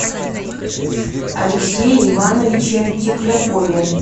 алексее ивановиче теплякове